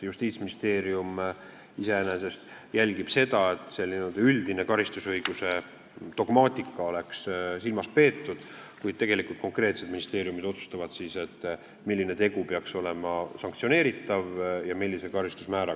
Justiitsministeerium iseenesest jälgib seda, et n-ö üldist karistusõiguse dogmaatikat oleks silmas peetud, kuid konkreetsed ministeeriumid otsustavad, milline tegu peaks olema sanktsioneeritav ja millise karistusmääraga.